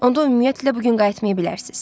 Onda ümumiyyətlə bu gün qayıtmaya bilərsiniz.